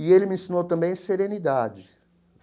E ele me ensinou também serenidade.